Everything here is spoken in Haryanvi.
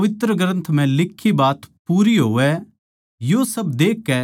यो सब देखकै सारे चेल्लें उसनै छोड़कै भाजगे